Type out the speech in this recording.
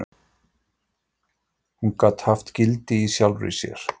Hún gat haft gildi í sjálfri sér.